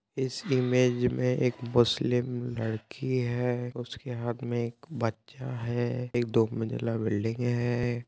इस इमेज में एक मुस्लिम लड़की है। उसके हाथ में एक बच्चा है एक दो मंजिला बिल्डिंग है।